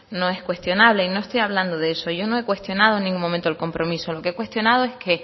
no es cuestionable y no estoy hablando de eso yo no he cuestionado en ningún momento el compromiso lo que he cuestionado es que